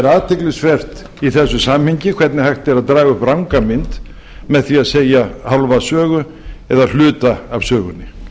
athyglisvert í þessu samhengi hvernig hægt er að draga upp ranga mynd með því að segja hálfa sögu eða hluta af sögunni